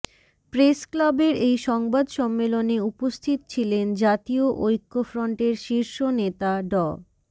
প্রেসক্লাবের এই সংবাদ সম্মেলনে উপস্থিত ছিলেন জাতীয় ঐক্যফ্রন্টের শীর্ষ নেতা ড